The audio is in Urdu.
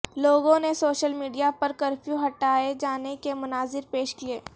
لوگوں نے سوشل میڈیا پر کرفیو ہٹائے جانے کے مناظر پیش کیے